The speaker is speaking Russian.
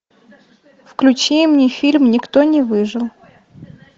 включи мне фильм никто не выжил